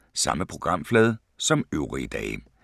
Samme programflade som øvrige dage